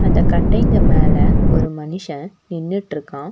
அந்த கட்டைங்க மேல ஒரு மனுஷ நின்னுட்ருக்கா.